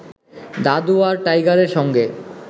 দাদু আর টাইগারের সঙ্গে